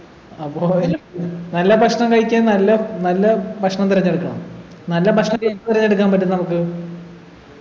അപ്പൊ നല്ല ഭക്ഷണം കഴിക്കാൻ നല്ല നല്ല ഭക്ഷണം തിരഞ്ഞെടുക്കണം നല്ല ഭക്ഷണം തിരഞ്ഞെടുക്കാൻ പറ്റും നമ്മക്ക്